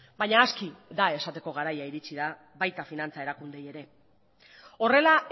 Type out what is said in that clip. baina aski da esateko garaia iritsi da baita finantza erakundeei ere horrela